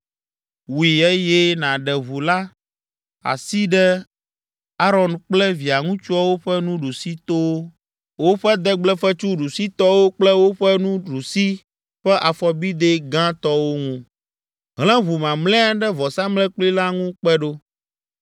Wui eye nàɖe ʋu la asi ɖe Aron kple via ŋutsuwo ƒe nuɖusitowo, woƒe degblefetsu ɖusitɔwo kple woƒe nuɖusi ƒe afɔbidɛ gãtɔwo ŋu. Hlẽ ʋu mamlɛa ɖe vɔsamlekpui la ŋu kpe ɖo.